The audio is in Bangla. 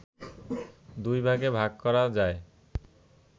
দুই ভাগে ভাগ করা যায়